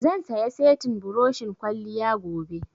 Zan saya settin buroshin kwalliya gobe